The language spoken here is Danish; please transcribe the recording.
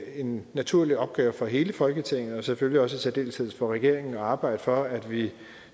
en naturlig opgave for hele folketinget og selvfølgelig også i særdeleshed for regeringen at arbejde for at vi